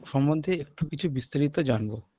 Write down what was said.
সম্ধন্ধে একটু কিছু বিস্তারিত জানব